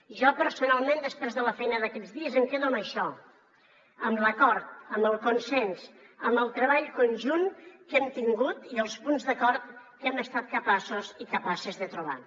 jo personalment després de la feina d’aquests dies em quedo amb això amb l’acord amb el consens amb el treball conjunt que hem tingut i els punts d’acord que hem estat capaços i capaces de trobar